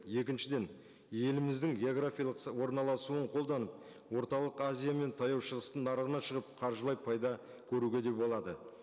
екіншіден еліміздің географиялық орналасуын қолданып орталық азия мен таяу шығыстың нарығына шығып қаржылай пайда көруге де болады